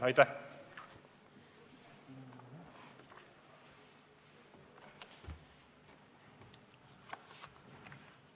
Aitäh!